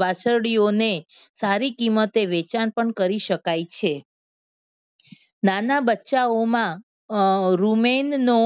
વાછરડીઓને સારી કિંમતે વેચાણ પણ કરી શકાય છે. નાના બચ્ચાઓમાં અમ રૂમેનનો